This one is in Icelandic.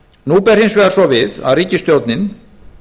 nú ber hins vegar svo við að ríkisstjórnin